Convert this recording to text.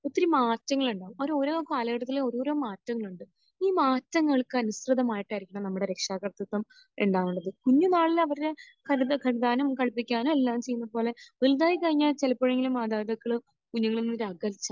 ഒത്തിരി മാറ്റങ്ങളുണ്ടാകും. അത് ഓരോ കാലഘട്ടത്തിൽ ഓരോരോ മാറ്റങ്ങൾ ഉണ്ട്. ഈ മാറ്റങ്ങൾക്ക് അനുസൃതമായിട്ടായിരിക്കണം നമ്മുടെ രക്ഷാകർത്തിത്വം ഉണ്ടാവേണ്ടത്. കുഞ്ഞ് നാളിൽ അവരുടെ പല്ലൊക്കെ കഴുകാനും, കഴിക്കാനും, എല്ലാം ചെയ്യുന്നത് പോലെ വലുതായി കഴിഞ്ഞാൽ ചിലപ്പോഴെങ്കിലും മാതാപിതാക്കൾ കുഞ്ഞുങ്ങളിൽ നിന്ന് ഒരു അകൽച്ച